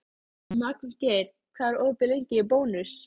Magngeir, hvað er opið lengi í Bónus?